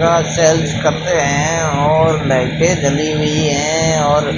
का सेल्स करते हैं और लाइटें जली हुई हैं और